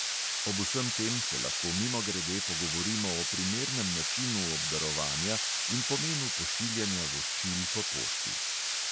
Ob vsem tem se lahko mimogrede pogovorimo o primernem načinu obdarovanja in pomenu pošiljanja voščil po pošti.